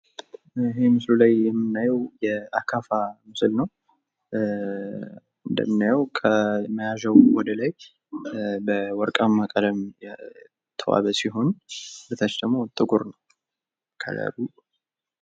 እዚህ ምስሉ ላይ የምናየው የአካፋ ምስል ነው። እንደምናየው መያዣው ወደ ላይ በወርቃማ ከለር የተዋበ ሲሆን በታች ደግሞ ከለር ነው።